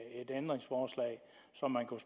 ændringsforslag så man kunne